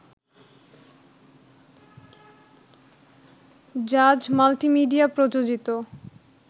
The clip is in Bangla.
জাজ মাল্টিমিডিয়া প্রযোজিত